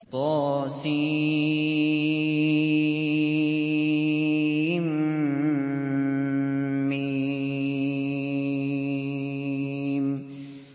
طسم